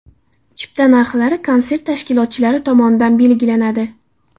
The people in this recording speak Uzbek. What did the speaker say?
Chipta narxlari konsert tashkilotchilari tomonidan belgilanadi.